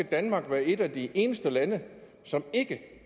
danmark et af de eneste lande som ikke